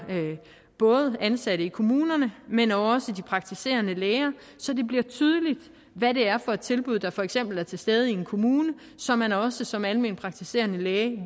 både ansatte i kommunerne men også de praktiserende læger så det bliver tydeligt hvad det er for et tilbud der for eksempel er til stede i en kommune så man også som almenpraktiserende læge